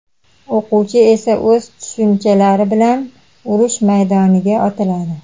o‘quvchi esa o‘z tushunchalari bilan urush maydoniga otiladi.